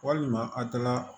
Walima a taara